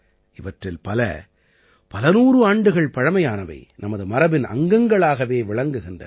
இவற்றில் பல பலநூறு ஆண்டுகள் பழைமையானவை நமது மரபின் அங்கங்களாக விளங்குகின்றன